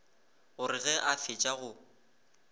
gore ge a fetša o